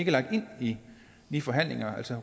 lagt ind i de forhandlinger altså